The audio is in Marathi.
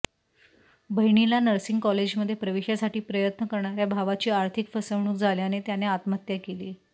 बहिणीला नर्सिंग कॉलेजमध्ये प्रवेशासाठी प्रयत्न करणाऱ्या भावाची आर्थिक फसवणूक झाल्याने त्याने आत्महत्या केली